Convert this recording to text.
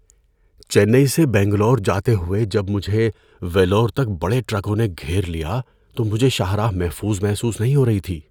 چنئی سے بنگلور جاتے ہوئے جب مجھے ویلور تک بڑے ٹرکوں نے گھیر لیا تو مجھے شاہراہ محفوظ محسوس نہیں ہو رہی تھی۔